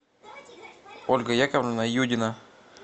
ольга яковлевна юдина